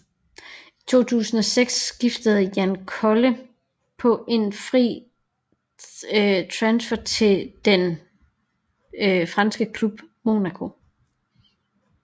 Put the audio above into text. I 2006 skiftede Jan Koller på en fri transfer til den franske klub Monaco